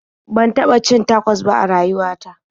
Ban taɓa cin tacos ba a rayuwa ta.